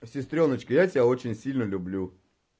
сестрёночка я тебя очень сильно люблю